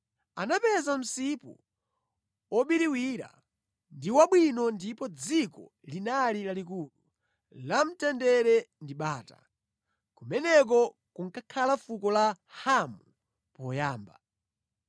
Anapeza msipu wobiriwira ndi wabwino ndipo dziko linali lalikulu, la mtendere ndi bata. Kumeneko kunkakhala fuko la Hamu poyamba.